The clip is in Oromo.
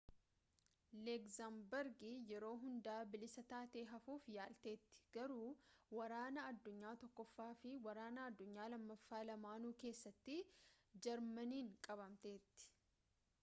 legzamburgi yeroo hundaa bilisa taatee hafuuf yaalteetti garuu waraana addunyaa tokkoffaa fi waraana addunyaa lammaffaa lamaanuu keessatti jarmaniin qabamteetti